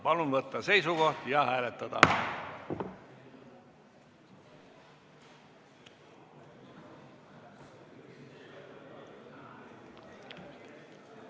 Palun võtta seisukoht ja hääletada!